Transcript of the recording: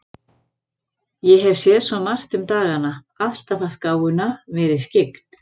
Ég hef séð svo margt um dagana, alltaf haft gáfuna, verið skyggn.